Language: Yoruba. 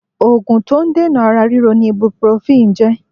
Ògùn to n dènà ara ríro ni 'ibuprofen' jé